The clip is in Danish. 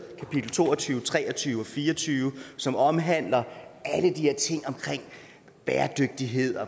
kapitel to og tyve tre og tyve og fire og tyve som omhandler alle de her ting om bæredygtighed